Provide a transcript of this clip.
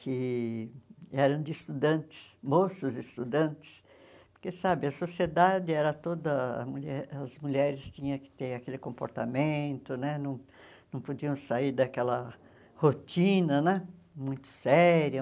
que eram de estudantes, moças estudantes, porque sabe a sociedade era toda... mulher as mulheres tinham que ter aquele comportamento né, não não podiam sair daquela rotina né muito séria.